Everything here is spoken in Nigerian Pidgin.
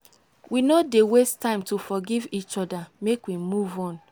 we no dey waste time to forgive each oda make we move on.